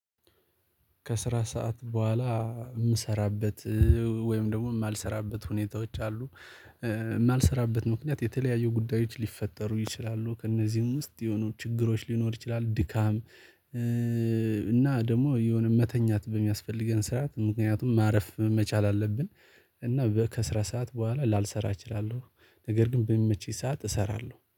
ከስራ ሰዓት በኋላ የምሰራበት ወይም ደግሞ የማልሰራበት ሁኔታዎች። አሉ ምክንያት የተለያየ ጉዳዮች ሊፈጠሩ ይችላሉ ከእነዚህም ውስጥ የሆኑ ችግሮች ሊኖሩ ይችላሉ ድካም። እና ደግሞ የሆነ መተኛት በሚያስፈልገን ሰዓት ምክንያቱም ማረፍ መቻል አለብን። እና በ ከስራ ሰዓት በኋላ ላልሰራ እችላለሁ ነገር ግን በሚመቸኝ ሰዓት እሰራለሁ